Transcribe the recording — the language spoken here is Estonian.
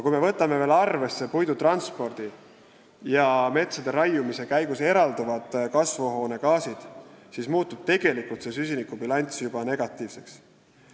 Kui me võtame arvesse veel puidu transpordi ja metsa raiumise käigus eralduvad kasvuhoonegaasid, siis muutub see süsinikubilanss juba negatiivseks.